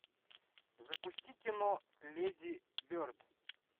запусти кино леди берд